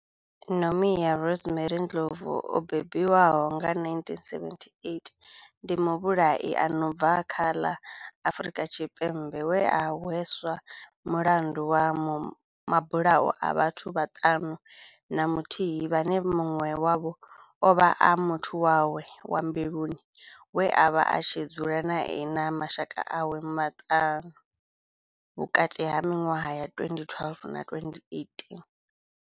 Nomia Rosemary Ndlovu o bebiwaho nga, 1978, ndi muvhulahi a no bva kha ḽa Afrika Tshipembe we a hweswa mulandu wa mabulayo a vhathu vhaṱanu na muthihi vhane munwe wavho ovha a muthu wawe wa mbiluni we avha a tshi dzula nae na mashaka awe maṱanu, vhukati ha minwaha ya 2012 na 2018.